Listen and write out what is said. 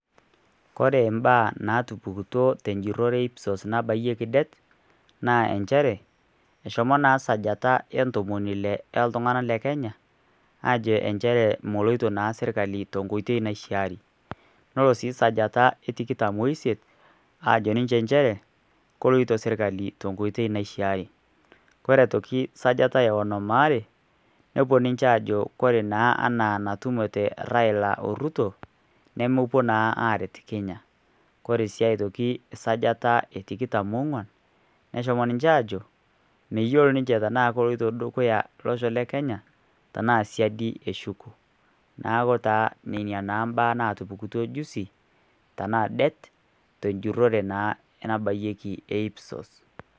Ora imbaa natupukutuo tenjirore e IPSOS nabayieki det naa njere eshomo naa sajata oontomini ile iltunganak le Kenya, ajo injere meloito naa sirkali tenkoito naishaari ore sii sajata etikitam oosiet aajo ninje njere, keloito sirkali tenkoito naishaari. Ore aitoki sajata eonom aare nepuo ninje ajo ore naa anaa natumote Raila Orutu, nemepuo naa aaret Kenya. Ore sii aitoki sajata etikitam onkuan neshomo ninje aajo meyiolo ninje tenaa keloito dukuya olosho le Kenya tenaa siadi eshuko. Neeku naa nena naa baa natupukutuo juzi tenaa det tenjore naa nabayieki IPSOS.